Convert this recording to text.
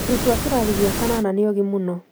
Arutwo a kĩrathi gĩa kanana nĩogĩ mũno